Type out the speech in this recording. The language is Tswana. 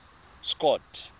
scott